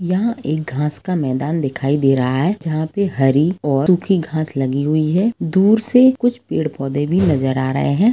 यहाँ एक घाँस का मैदान दिखाई दे रहा हैं जहाँ पे हरी और और कुछ घाँस लगी हुई हैं दूर से कुछ पेड पौधे भी नजर अ रहे हैं ।